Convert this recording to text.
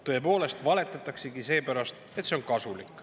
Tõepoolest, valetataksegi seepärast, et see on kasulik.